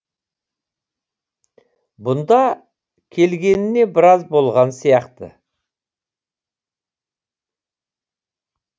бұнда келгеніне біраз болған сияқты